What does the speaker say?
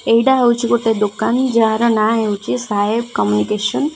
ଏଇଟା ହଉଚି ଗୋଟେ ଦୋକାନ ଯାହାର ନା ହେଉଛି ସାହେବ କମ୍ୟୁନିକେସନ ।